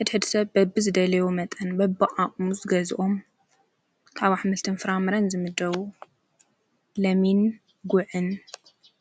ሕድ ሕድ ሰብ በብ ዝደለዎ መጠን በብቕዓቕሙዝ ገዝኦም ካብሕምልቲ ምፍራ ምርን ዝምደዉ ለሚን ጕዕን::